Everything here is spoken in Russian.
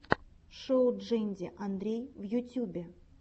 шоу джэнди андрей в ютюбе